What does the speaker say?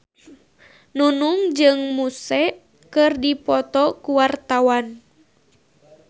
Nunung jeung Muse keur dipoto ku wartawan